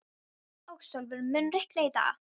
Ásólfur, mun rigna í dag?